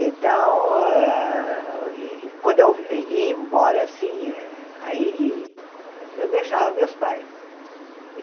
Então hã, quando eu i ia embora assim eh, aí eu deixava meus pais.